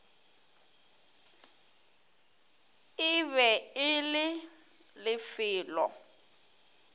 e be e le lefelo